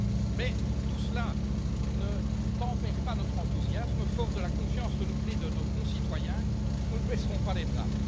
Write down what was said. Mais tout cela ne tempère pas notre enthousiasme, forts de la confiance renouvelée de nos concitoyens, nous ne baisserons pas les bras.